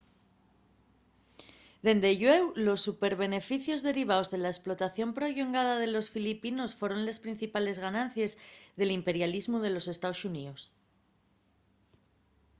dende llueu los superbeneficios derivaos de la esplotación prollongada de los filipinos foron les principales ganancies del imperialismu de los estaos xuníos